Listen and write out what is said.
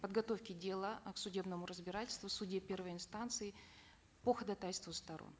подготовке дела э к судебному разбирательству в суде первой инстанции по ходатайству сторон